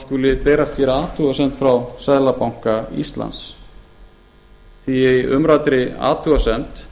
skuli berast hér athugasemd frá seðlabanka íslands því að í umræddri athugasemd